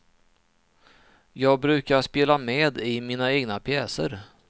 Jag brukar spela med i mina egna pjäser.